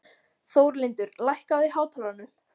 Þórlindur, lækkaðu í hátalaranum.